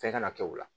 Fɛn kana kɛ o la